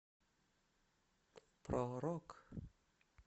про рок